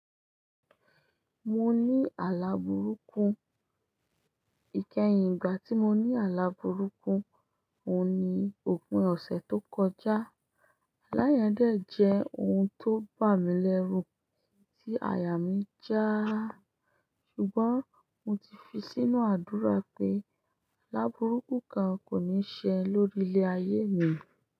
Mo ní àlabùrúkú ìkẹyìn igbà tí mo ní àlabùrúkú òun ni òpin ọ̀sẹ̀ tó kọjá. Alá yẹ̀ń dẹ̀ jẹ́ ohun tó bà mí lẹ́rù tí àyà mí já ṣùgbọ́n mo ti fi sínú àdúrà pé àlabùrúkú kan kò ní ṣe lórí ilé ayé mi.